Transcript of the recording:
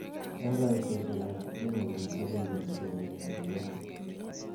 Eng kaitoshek ab sitini ko netelejin somanoshechtok.